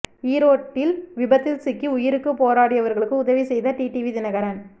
ஈரோட்டில் விபத்தில் சிக்கி உயிருக்கு போராடியவர்களுக்கு உதவி செய்த டிடிவி தினகரன்